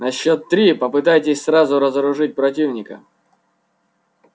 на счёт три попытайтесь сразу разоружить противника